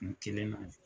Kun kelen na